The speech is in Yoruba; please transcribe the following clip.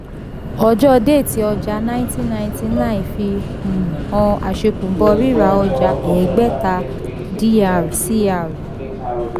ọjọ́ déètì ọja nineteen ninety nine fi um han àṣẹ̀kùbọ̀ rira ọja ẹgbẹ̀ta dr [cr